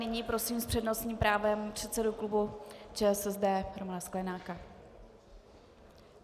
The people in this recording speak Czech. Nyní prosím s přednostním právem předsedu klubu ČSSD Romana Sklenáka.